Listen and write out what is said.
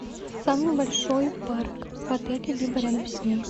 самый большой парк в отеле либо рядом с ним